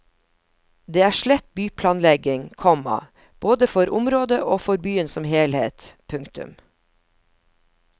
Det er slett byplanlegging, komma både for området og for byen som helhet. punktum